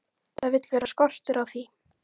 Það vill vera skortur á því.